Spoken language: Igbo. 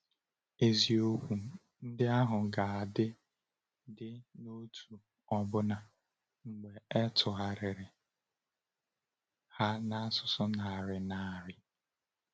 Eziokwu ndị ahụ ka dị dị n’otu ọbụna mgbe e tụgharịrị ha n’asụsụ narị narị.